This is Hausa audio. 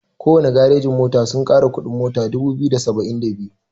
Kowana garejin mota sun kara kuɗin mota dubu biyu da saba'in da biyu.